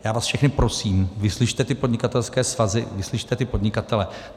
Já vás všechny prosím, vyslyšte ty podnikatelské svazy, vyslyšte ty podnikatele.